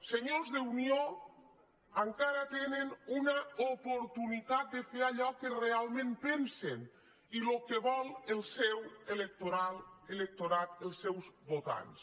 senyors d’unió encara tenen una oportunitat de fer allò que realment pensen i el que vol el seu electorat els seus votants